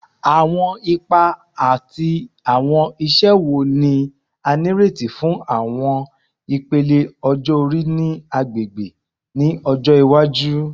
Awọn ipa ati awọn iṣẹ wo ni a nireti fun awọn ipele ọjọ-ori ni agbegbe ni ọjọ iwaju?